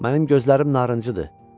Mənim gözlərim narıncıdır.